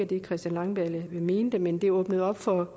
det christian langballe mente men det åbnede op for